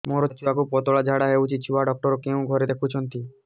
ମୋର ଛୁଆକୁ ପତଳା ଝାଡ଼ା ହେଉଛି ଛୁଆ ଡକ୍ଟର କେଉଁ ଘରେ ଦେଖୁଛନ୍ତି